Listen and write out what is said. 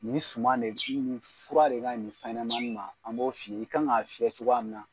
Ni suma de fura de ka ɲi nin fɛn ɲɛnama ninnu ma an b'o f'i ye i kan k'a fiyɛ cogoya min na